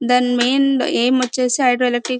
దాని main aim వచ్చేసి hydroelectric --